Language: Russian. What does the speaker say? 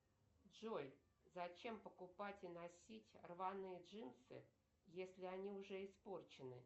джой зачем покупать и носить рваные джинсы если они уже испорчены